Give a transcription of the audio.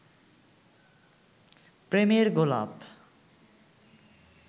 প্রেমের গোলাপ